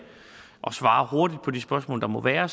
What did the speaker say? svare hurtigt på de spørgsmål der må være